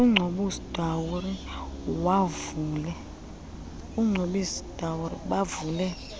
ucobus dowry bavule